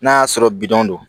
N'a y'a sɔrɔ bidon don